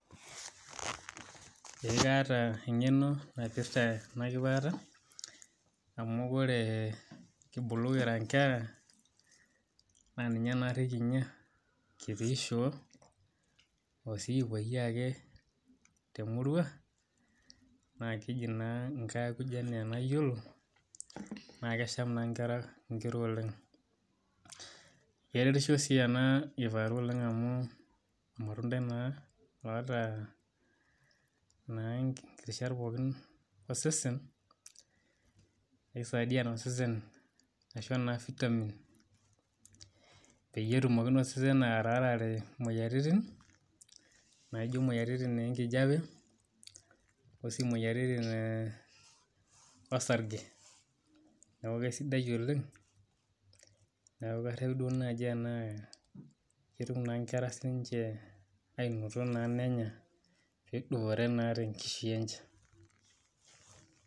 Eeh kaata engeno naipirta enaa kipaata amu ore kibuku kira nkera naa ninye naari kinya kitii shoo osi kipuo ake temurua naa keji kaakuj anaa enayiolo, naa kesham nkera ooleng. Keretisho si te amu ormatundai naa oata naa kirishat naa pooki osesen nisaidia to sesen aish vitamin peyie etumoki naa osesen ataarare moyiaritin najio moyiaritin ekijape omyuaritin ee osarge, neaku kesidai oooleng neaku karep naaji tenaa ketun nkera si ninche anoto naa nenya nedupore naa te kishaa enche.